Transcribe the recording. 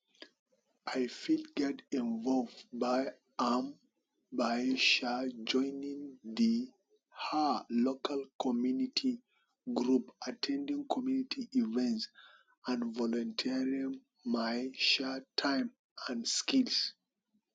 i fit get involved by um by um joining di um local community group at ten ding community events and volunteering my um time and skills